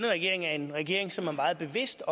af